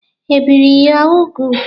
E bìri gị úgwù?